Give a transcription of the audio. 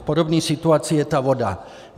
V podobné situaci je ta voda.